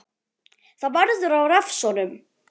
Það verður að refsa honum!